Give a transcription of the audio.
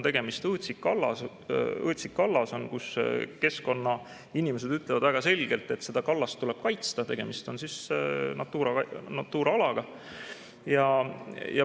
Tegemist on õõtsikkaldaga, mille kohta keskkonnainimesed ütlevad väga selgelt, et seda kallast tuleb kaitsta, tegemist on Natura alaga.